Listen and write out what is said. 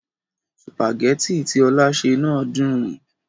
Sùpàgẹ́tì tí Ọlá sè náà dùn.